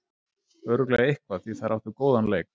Örugglega eitthvað, því þær áttu góðan leik.